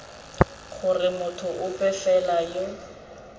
gore motho ope fela yo